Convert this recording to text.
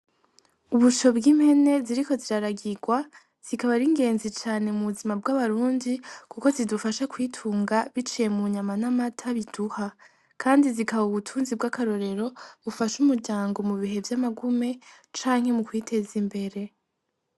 Ubusho bw'impene ziriko ziraragigwa zikaba aringenzi cane mu buzima bw'abarundi kuko zidufasha kwitunga biciye mu nyama n'amata biduha Kandi zikaba ubutunzi bw'akarorero bufasha umuryango mubihe vy'amagume canke mukwiteza imbere.